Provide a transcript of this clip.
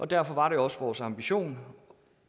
derfor var det også vores ambition